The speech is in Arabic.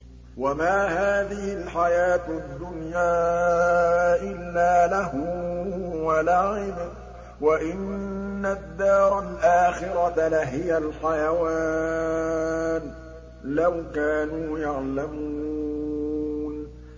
وَمَا هَٰذِهِ الْحَيَاةُ الدُّنْيَا إِلَّا لَهْوٌ وَلَعِبٌ ۚ وَإِنَّ الدَّارَ الْآخِرَةَ لَهِيَ الْحَيَوَانُ ۚ لَوْ كَانُوا يَعْلَمُونَ